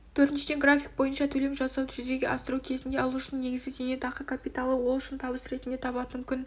төртіншіден график бойынша төлем жасауды жүзеге асыру кезінде алушының негізгі зейнетақы капиталы ол үшін табыс ретінде табатын күн